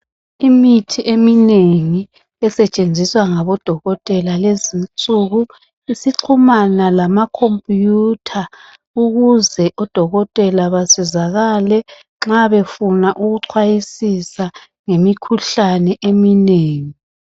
imithi eminengi esetshenziswa ngabo dokotela lezinsuku isixhumana lama computer ukuze odokotela basizakale nxa befuna ukucwayisisa ngemikhuhlane eminengi